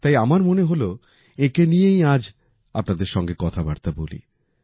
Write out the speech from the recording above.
তাই আমার মনে হল এনাকে নিয়েই আজ আপনাদের সাথে কথাবার্তা বলি